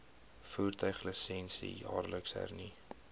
voertuiglisensie jaarliks hernu